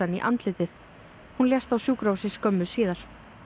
í andlitið hún lést á sjúkrahúsi skömmu síðar